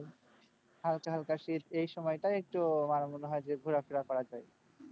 হালকা হালকা শীত এই সময়টা একটু আমার মনে হয় যে ঘোরাফেরা করা যায়।